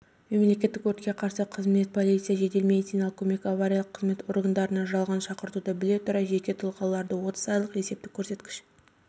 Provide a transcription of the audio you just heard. мемлекеттік өртке қарсы қызмет полиция жедел медициналық көмек авариялық қызмет органдарына жалған шақыртуды біле тұра жеке тұлғаларды отыз айлық есептік көрсеткіш